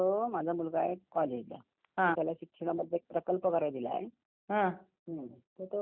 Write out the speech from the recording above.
Madam मला जरा यात्रेबद्दल माहिती पाहिजे होती तुमच्याकडे कधी ते यात्रा वगैरे भरते का?